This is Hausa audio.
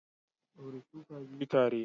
Daure shuka biyu tare.